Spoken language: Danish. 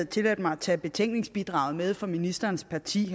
tilladt mig at tage betænkningsbidraget fra ministerens parti